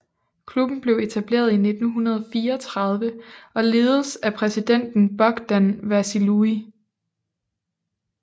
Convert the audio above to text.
Klubben blev etableret i 1934 og ledes af præsidenten Bogdan Vasiliu